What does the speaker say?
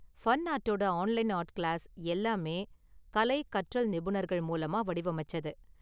ஃபன்ஆர்ட்டோட online art class எல்லாமே கலை, கற்றல் நிபுணர்கள் மூலமாக வடிவமைச்சது.